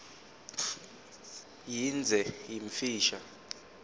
yindze yimfisha